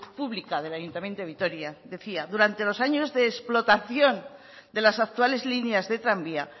pública del ayuntamiento de vitoria decía durante los años de explotación de las actuales líneas de tranvía